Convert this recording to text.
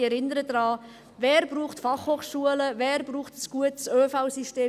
Ich erinnere daran, wer braucht Fachhochschulen, wer braucht ein gutes ÖV-System?